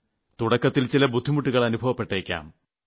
തുടക്കത്തിൽ ചില ബുദ്ധിമുട്ടുകൾ അനുഭവപ്പെട്ടേയ്ക്കാം